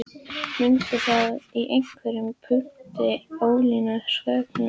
Mundi það í einhverjum punkti ógilda sköpunarsögu